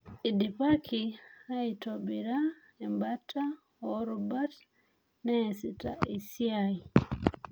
Eidipaki aitobiraembata oorubat neasita esiai